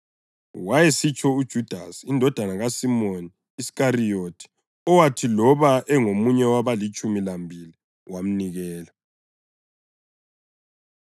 (Wayesitsho uJudasi, indodana kaSimoni Iskariyothi, owathi loba engomunye wabalitshumi lambili wamnikela.)